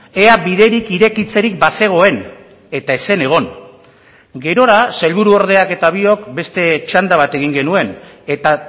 ea biderik irekitzerik bazegoen eta ez zen egon gerora sailburuordeak eta biok beste txanda bat egin genuen eta